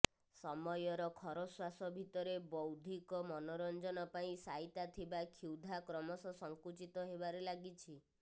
ସମୟର ଖରଶ୍ୱାସ ଭିତରେ ବୌଦ୍ଧିକ ମନୋରଞ୍ଜନ ପାଇଁ ସାଇତା ଥିବା କ୍ଷୁଧା କ୍ରମଶଃ ସଙ୍କୁଚିତ ହେବାରେ ଲାଗିଛି